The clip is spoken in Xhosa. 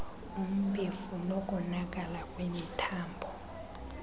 umbefu nokonakala kwemithambo